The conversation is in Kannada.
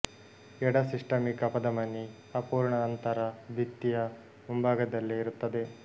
ಎಡ ಸಿಸ್ಟಮಿಕ್ ಅಪಧಮನಿ ಅಪೂರ್ಣ ಅಂತರ ಭಿತ್ತಿಯ ಮುಂಭಾಗದಲ್ಲೇ ಇರುತ್ತದೆ